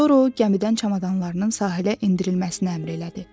Sonra o gəmidən çamadanlarının sahilə endirilməsinə əmr elədi.